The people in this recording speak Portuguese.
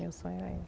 Meu sonho é